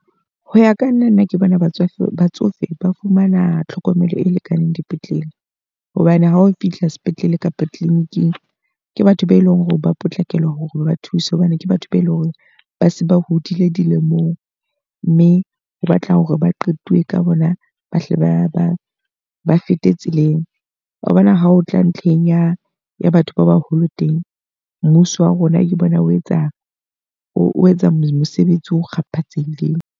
Ho ya ka nna nna ke bona batsofe. Batsofe ba fumana tlhokomelo e lekaneng dipetlele. Hobane ha o fihla sepetlele kapa clinic-ing, ke batho be leng hore ba potlakela hore ba ba thuse hobane ke batho be leng hore ba se ba hodile dilemong. Mme o batla hore ba qetuwe ka bona, ba hle ba ba ba fete tseleng. Wabona ha o tla ntlheng ya ya batho ba baholo teng, mmuso wa rona ke bona o etsa o etsa mosebetsi o kgapatsehileng.